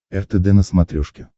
ртд на смотрешке